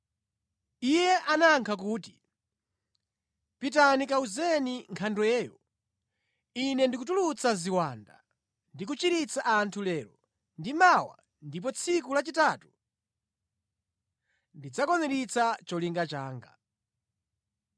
Iye anayankha kuti, “Pitani kawuzeni nkhandweyo, Ine ndikutulutsa ziwanda ndi kuchiritsa anthu lero ndi mawa ndipo tsiku lachitatu ndidzakwaniritsa cholinga changa.”